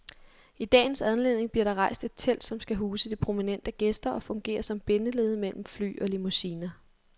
I dagens anledning bliver der rejst et telt, som skal huse de prominente gæster og fungere som bindeled mellem fly og limousiner.